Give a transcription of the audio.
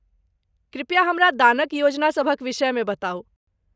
कृपया हमरा दानक योजनासभक विषयमे बताउ।